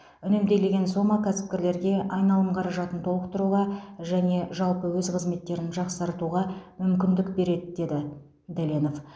үнемделген сома кәсіпкерлерге айналым қаражатын толықтыруға және жалпы өз қызметтерін жақсартуға мүмкіндік береді деді дәленов